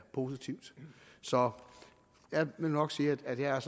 positivt så jeg vil nok sige at jeg